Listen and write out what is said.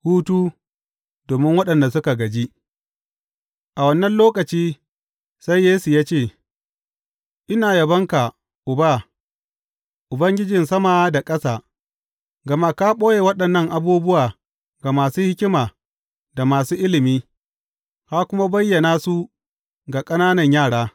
Hutu domin waɗanda suka gaji A wannan lokaci sai Yesu ya ce, Ina yabonka, Uba, Ubangijin sama da ƙasa, gama ka ɓoye waɗannan abubuwa ga masu hikima da masu ilimi, ka kuma bayyana su ga ƙananan yara.